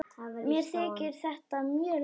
Mér þykir þetta mjög leitt.